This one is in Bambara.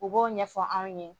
U b'o ɲɛfɔ anw ye